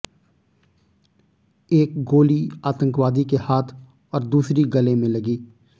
एक गोली आतंकवादी के हाथ और दूसरी गले में लगी